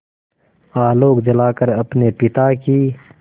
आलोक जलाकर अपने पिता की